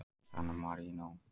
San Marínó